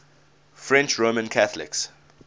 french roman catholics